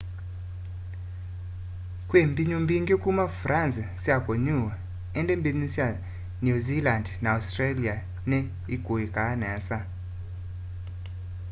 kwi mbinyu mbingi kuma france sya kunyuwa indi mbinyu sya new zealand na australia ni ikuikaa nesa